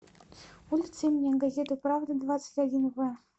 улица имени газеты правда двадцать один в